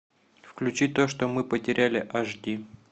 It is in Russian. включи то что мы потеряли аш ди